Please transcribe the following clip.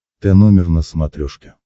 тномер на смотрешке